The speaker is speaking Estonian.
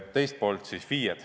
Teine küsimus: FIE-d.